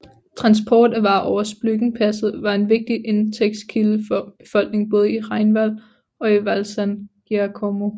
Transport af varer over Splügenpasset var en vigtig indtægtskilde for befolkningen både i Rheinwald og i Val San Giacomo